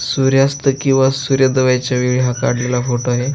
सूर्यास्त किंवा सूर्यदव्याच्या वेळी हा काढलेला फोटो आहे.